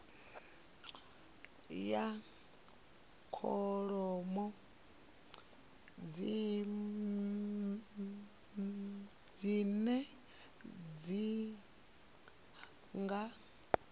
ya kholomo dzine dzi nga